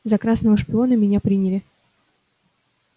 за красного шпиона меня приняли